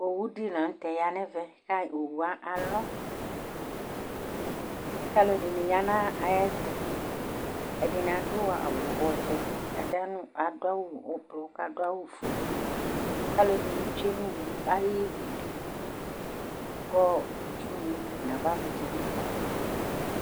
Owʊ dɩla nʊtɛ ɔya nɛvɛ, owʊe alɔ, kalʊ ɛdɩnɩ ya nayɛtʊ Ɛdɩnɩ adʊ awʊ ɔvɛ, ɛdɩnɩ adʊ awʊ ʊblɔr, kɛdɩnɩ adʊ awʊ ofʊe Kalʊ ɛdɩnɩ tsʊe niwʊ ayɩdʊ kɩtsʊ navavlɩtsɛ nibɩ kɔ